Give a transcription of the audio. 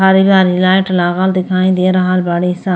आरी आरी लाइट लागल दिखाई दे रहल बाड़ी स।